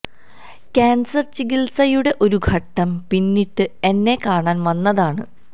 cancer ചികിത്സയുടെ ഒരു ഘട്ടം പിന്നിട്ട് എന്നെ കാണാൻ വന്നതാണ്